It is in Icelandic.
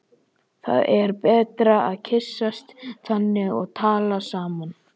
Það er betra að kyssast þannig og tala saman.